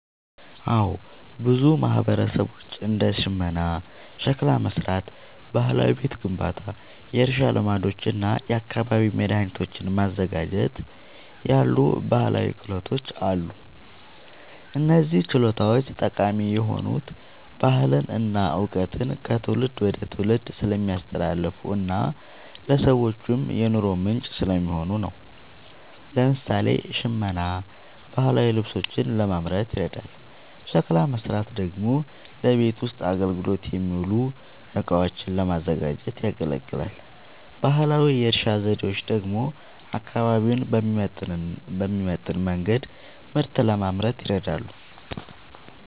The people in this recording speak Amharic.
አዎ፣ በብዙ ማህበረሰቦች እንደ ሽመና፣ ሸክላ መሥራት፣ ባህላዊ ቤት ግንባታ፣ የእርሻ ልማዶች እና የአካባቢ መድኃኒቶችን ማዘጋጀት ያሉ ባህላዊ ክህሎቶች አሉ። እነዚህ ችሎታዎች ጠቃሚ የሆኑት ባህልን እና እውቀትን ከትውልድ ወደ ትውልድ ስለሚያስተላልፉና ለሰዎችም የኑሮ ምንጭ ስለሚሆኑ ነው። ለምሳሌ፣ ሽመና ባህላዊ ልብሶችን ለማምረት ይረዳል፤ ሸክላ መሥራት ደግሞ ለቤት ውስጥ አገልግሎት የሚውሉ እቃዎችን ለማዘጋጀት ያገለግላል። ባህላዊ የእርሻ ዘዴዎች ደግሞ አካባቢውን በሚመጥን መንገድ ምርት ለማምረት ይረዳሉ።